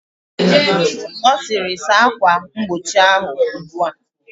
Ọ sịrị, saa akwa mgbochi ahụ ugbua!